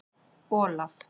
Olaf